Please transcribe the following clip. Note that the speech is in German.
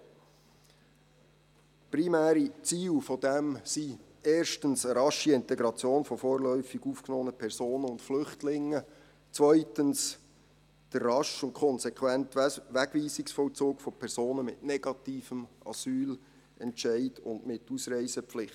Seine primären Ziele sind erstens eine rasche Integration von vorläufig aufgenommenen Personen und Flüchtlingen, zweitens der rasche und konsequente Wegweisungsvollzug von Personen mit negativem Asylentscheid und mit Ausreisepflicht.